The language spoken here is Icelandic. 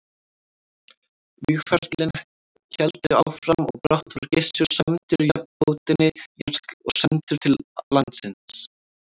Vígaferlin héldu áfram og brátt var Gissur sæmdur nafnbótinni jarl og sendur aftur til landsins.